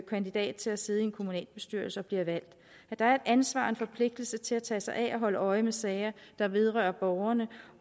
kandidat til at sidde i en kommunalbestyrelse og bliver valgt der er et ansvar og en forpligtelse til at tage sig af og holde øje med sager der vedrører borgerne